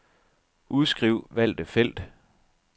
Udskriv valgte felt.